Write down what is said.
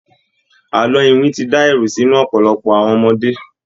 Àlọ iwin ti dá ẹ̀rù sí inú ọ̀pọ̀lọpọ̀ àwon ọmọdé.